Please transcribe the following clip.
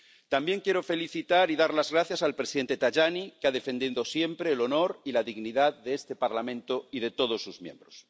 También quiero felicitar y dar las gracias al presidente Tajani, que ha defendido siempre el honor y la dignidad de este Parlamento y de todos sus miembros.